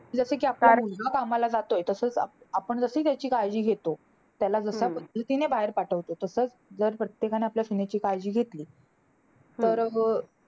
जसं कि आपला मुलगा कामाला जातोय. तसंच आ आपण जसं त्याची काळजी घेतो. त्याला जशा पद्धतीने बाहेर पाठवतो, तसंच जर प्रत्येकाने आपल्या सुनेची काळजी घेतली. तर मग अं